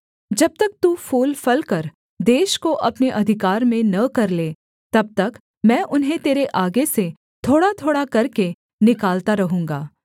जब तक तू फूलफलकर देश को अपने अधिकार में न कर ले तब तक मैं उन्हें तेरे आगे से थोड़ाथोड़ा करके निकालता रहूँगा